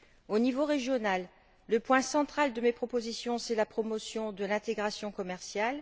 Au niveau régional, le point central de mes propositions c'est la promotion de l'intégration commerciale.